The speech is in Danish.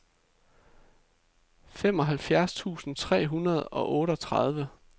femoghalvfjerds tusind tre hundrede og otteogtredive